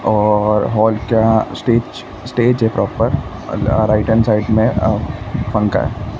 और हॉल क्या stage stage है प्रॉपर अल अ राइट हॅन्ड साइड में पंखा हैं।